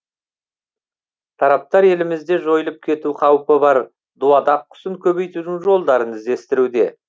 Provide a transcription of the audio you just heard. тараптар елімізде жойылып кету қаупі бар дуадақ құсын көбейтудің жолдарын іздестіруде